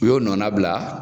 U y'o nɔna bila